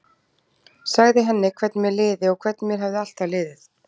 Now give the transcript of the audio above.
Sagði henni hvernig mér liði og hvernig mér hefði alltaf liðið.